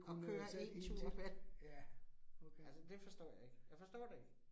At køre én tur vel! Altså det forstår jeg ikke. Jeg forstår det ikke